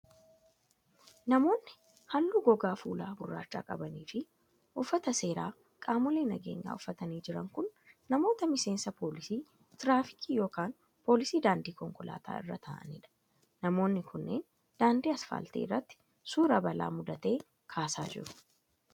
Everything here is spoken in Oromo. Namoonni halluu gogaa fuulaa gurraacha qabanii fi uffata seeraa qaamolee nageenyaa uffatanii jiran kun, namoota miseensa poolisii tiraafikii yokin poolisii daandii konkolaataa irraa ta'anii dha. Namoonni kunneen, daandii asfaaltii irratti suura balaa muudatee kaasaa jiru.